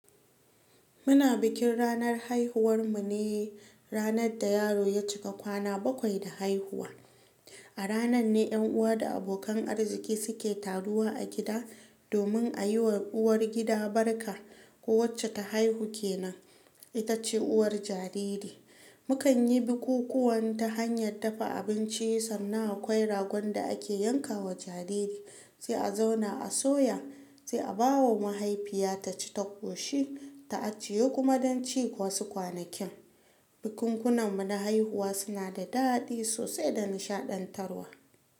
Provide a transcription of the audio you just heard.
Muna bikin ranar haihuwar mu ne ranar da yaro ya cika kwana bakwai da haihuwa. A ranar ne ƴan uwa da abokan arziki suke taruwa a gida domin a yi wa uwar gida barka. Ko wacce ta haihu ke nan, ita ce uwar jariri. Mukan yi bukukuwan ta hanyar dafa abinci, sannan aƙwai ragon da ake yanka wa jariri, sai a zauna a soya, sai a bawa mahaifiya taci ta ƙoshi, ta aciye kuma don ci wasu kwanakin. Bukunkunan muna haihuwa suna da daɗi sosai da nishaɗantarwa.